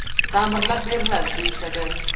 Ta’mirlab beriladi, deyishadi.